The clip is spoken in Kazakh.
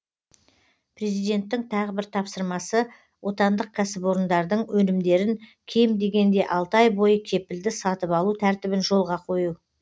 президенттің тағы бір тапсырмасы отандық кәсіпорындардың өнімдерін кем дегенде алты ай бойы кепілді сатып алу тәртібін жолға қою